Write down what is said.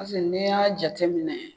Paseke n'i y'a jateminɛ